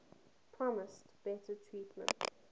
promised better treatment